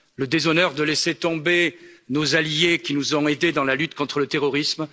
Le déshonneur de laisser tomber nos alliés, qui nous ont aidés dans la lutte contre le terrorisme.